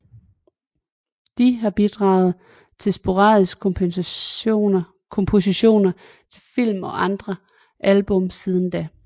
De har bidraget med sporadiske kompositioner til film og andre album siden da